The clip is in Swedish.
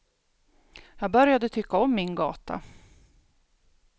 Jag började tycka om min gata.